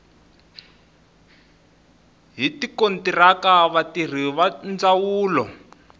hi tikontiraka vatirhi va ndzawulo